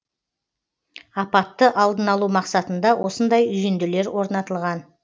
апатты алдын алу мақсатында осындай үйінділер орнатылған